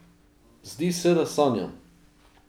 Zdi se, da sanjam!